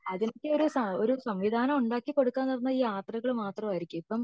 ഇതിലേക്ക് ഒരു സംവിധാനം ഉണ്ടാക്കി കൊടുക്ക എന്ന് പറഞ്ഞ അത് ഈ യാത്രകൾ മാത്രം ആയിരിക്കും